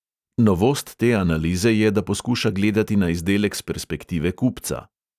Novost te analize je, da poskuša gledati na izdelek s perspektive kupca.